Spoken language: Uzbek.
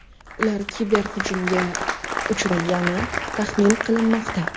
Ular kiberhujumga uchragani taxmin qilinmoqda.